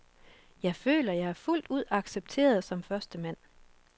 Jeg føler, jeg er fuldt ud accepteret som førstemand.